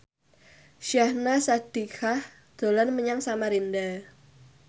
Syahnaz Sadiqah dolan menyang Samarinda